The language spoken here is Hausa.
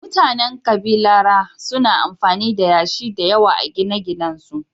Mutanen kabilara suna amfani da yashi da yawa a gine-ginensu